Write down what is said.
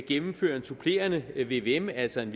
gennemføre en supplerende vvm altså en